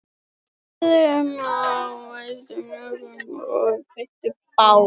Þau hlóðu vörðu upp á hæsta hnúknum og kveiktu bál